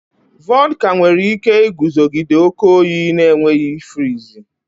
Vodka nwere ike iguzogide oke oyi na-enweghị ifriizi